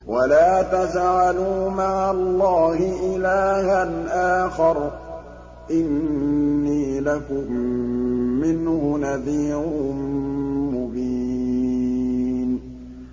وَلَا تَجْعَلُوا مَعَ اللَّهِ إِلَٰهًا آخَرَ ۖ إِنِّي لَكُم مِّنْهُ نَذِيرٌ مُّبِينٌ